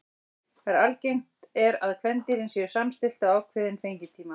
Þar er algengt er að kvendýrin séu samstillt á ákveðinn fengitíma.